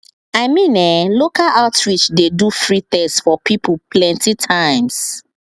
i mean eh local outreach dey do free test for people plenty times